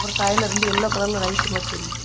சைடுல ரெண்டு எல்லோ கலர்ல லைட் மாரி தெரியுது.